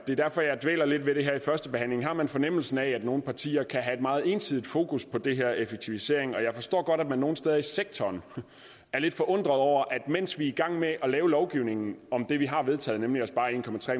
det er derfor jeg dvæler lidt ved det her under førstebehandlingen har man fornemmelsen af at nogle partier kan have et meget ensidigt fokus på det her med effektivisering jeg forstår godt at de nogle steder i sektoren er lidt forundret over at mens vi er i gang med at lave lovgivning om det vi har vedtaget nemlig at spare en